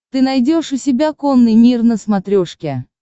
ты найдешь у себя конный мир на смотрешке